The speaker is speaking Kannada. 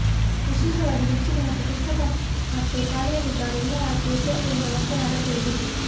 ವಿಶೇಷವಾಗಿ ಮೆಚ್ಚುಗೆ ಮತ್ತು ಪುಸ್ತಕ ಮತ್ತು ಶಾಲೆಯಲ್ಲಿದ್ದಾಗ ಎಲ್ಲಾ ಆಸ್ತಿ ಎಚ್ಚರಿಕೆಯಿಂದ ವರ್ತನೆ ಅಗತ್ಯವಿದೆ